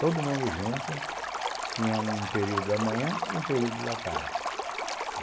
Todo mundo junto, tinha um período da manhã e um período da tarde.